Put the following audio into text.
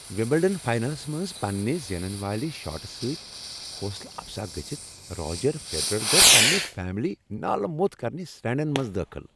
Wimbledon finals منٛز پننِہ زینن والِہ شاٹہٕ سۭتۍ حوصلہٕ افزا گژھتھ، راجر فیڈرر گوو پننِہ فیملی نال موٚت کرنِہ سٹینڈَن منٛز دٲخل۔